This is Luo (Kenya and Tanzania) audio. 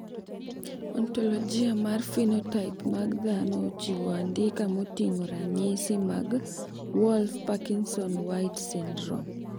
Ontologia mar phenotype mag dhano ochiwo andika moting`o ranyisi mag Wolff Parkinson White syndrome.